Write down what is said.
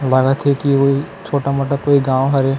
लागा थे की ओइ छोटा-मोटा कोई गाँव हवे।